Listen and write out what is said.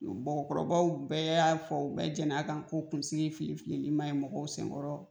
Bɔgɔkɔrɔbaw bɛɛ y'a fɔ bɛɛ jɛn'a kan ko kunsigi filifili manɲi mɔgɔw senkɔrɔ